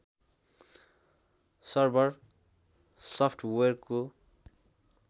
server software हो